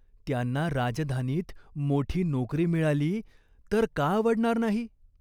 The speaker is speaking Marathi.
त्यांना राजधानीत मोठी नोकरी मिळाली, तर का आवडणार नाही ?